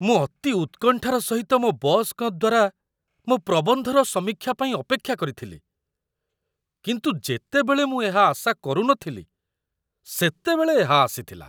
ମୁଁ ଅତି ଉତ୍କଣ୍ଠାର ସହିତ ମୋ ବସ୍‌ଙ୍କ ଦ୍ୱାରା ମୋ ପ୍ରବନ୍ଧର ସମୀକ୍ଷା ପାଇଁ ଅପେକ୍ଷା କରିଥିଲି, କିନ୍ତୁ ଯେତେବେଳେ ମୁଁ ଏହା ଆଶା କରୁନଥିଲି ସେତେବେଳେ ଏହା ଆସିଥିଲା